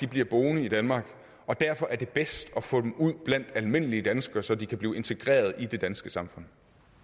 bliver boende i danmark og derfor er det bedst at få dem ud blandt almindelige danskere så de kan blive integreret i det danske samfund